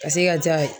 Ka se ka ja ye